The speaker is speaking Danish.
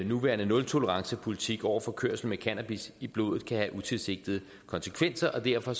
nuværende nultolerancepolitik over for kørsel med cannabis i blodet kan have utilsigtede konsekvenser og derfor